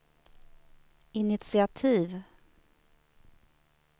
initiativ